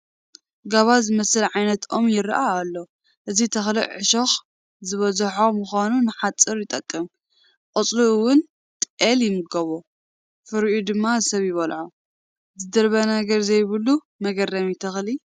ጋባ ዝበሃል ዓይነት ኦም ይርአ ኣሎ፡፡ እዚ ተኽሊ ዕሾኽ ዝበዝሖ ብምዃኑ ንሓፁር ይጠቅም፡፡ ቆፅሉ እውን ጤል ይምገብኦ፡፡ ፍሪኡ ድማ ሰብ ይበልዖ፡፡ ዝድርበ ነገር ዘይብሉ መግረሚ ተኽሊ፡፡